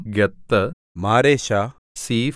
Gath Mareshah സീഫ്